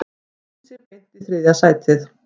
Kýldi sig beint í þriðja sætið